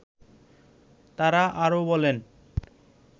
তারা আরো বলেন